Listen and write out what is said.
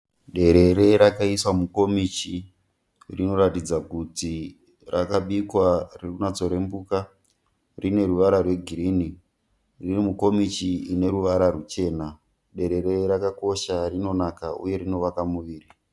Derere rakaiswa mukomichi, rinoratidza kuti rakabikwa ririkunatsokurembuka, rine ruvara rwegirini riri mukomichi ine ruvara ruchena. Derere rakakosha, rinonaka uye rinovaka muviri.